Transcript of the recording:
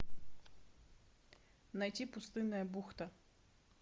найти пустынная бухта